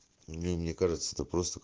ну мне кажется это просто к